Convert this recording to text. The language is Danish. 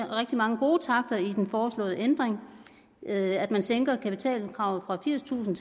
rigtig mange gode takter i den foreslåede ændring at man sænker kapitalkravet fra firstusind